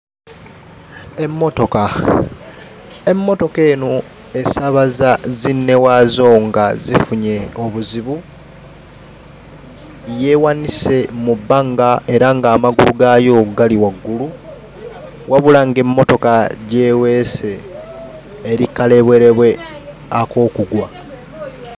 Emmotoka emmotoka eno esaabaza zinnewaazo nga zifunye obuzibu yeewanise mu bbanga era ng'amagulu gaayo gali waggulu wabula ng'emmotoka gy'eweese eri kkalebwerebwe ak'okugwa.